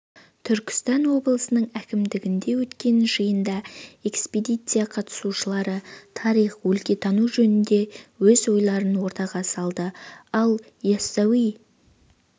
түркістан облысының әкімдігінде өткен жиында экспедиция қатысушылары тарих өлкетану жөнінде өз ойларын ортаға салды ал ясауи